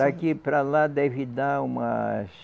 Daqui para lá deve dar umas...